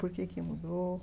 Por que que mudou?